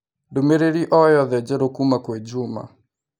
ndũmĩrĩri o yothe njerũ kuuma kwĩ Juma